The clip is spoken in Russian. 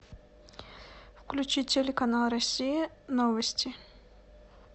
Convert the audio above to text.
включи телеканал россия новости